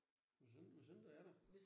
Hvis ikke hvis ikke du er der